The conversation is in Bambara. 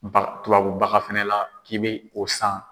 Baga tubabubaga fana la k'i bɛ o san.